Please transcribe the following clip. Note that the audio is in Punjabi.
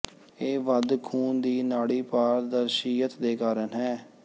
ਇਹ ਵੱਧ ਖੂਨ ਦੀ ਨਾੜੀ ਪਾਰਦਰਸ਼ੀਅਤ ਦੇ ਕਾਰਨ ਹੈ